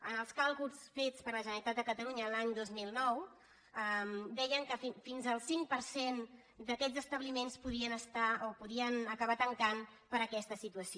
en els càlculs fets per la generalitat de catalunya l’any dos mil nou deien que fins al cinc per cent d’aquests establiments podien acabar tancant per aquesta situació